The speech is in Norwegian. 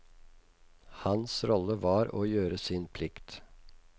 Hans rolle var å gjøre sin plikt.